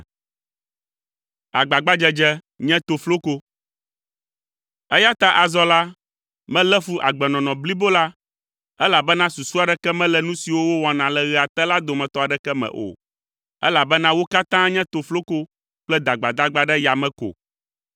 Eya ta azɔ la, melé fu agbenɔnɔ blibo la, elabena susu aɖeke mele nu siwo wowɔna le ɣea te la dometɔ aɖeke me o, elabena wo katã nye tofloko kple dagbadagba ɖe yame ko.